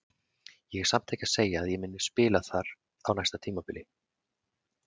Ég er samt ekki að segja að ég muni spila þar á næsta tímabili.